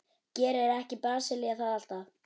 Gerir ekki Brasilía það alltaf?